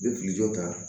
N bɛ kijɔ ta